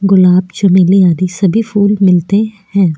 गुलाब चमेली आदि सभी फूल मिलते हैं।